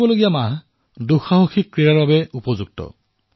আগন্তুক মাহটো অভিযানমূলক ক্ৰীড়াৰ বাবেও উপযুক্ত মাহ